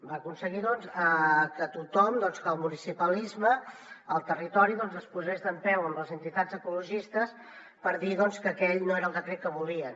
va aconseguir doncs que tothom el municipalisme el territori es posés dempeus amb les entitats ecologistes per dir que aquell no era el decret que volien